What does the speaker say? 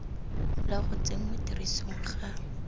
la go tsenngwa tirisong ga